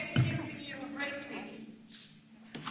Excuse me, I have to call for some order now.